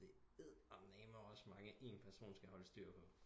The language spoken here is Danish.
Det er eddermame også mange en person skal holde styr på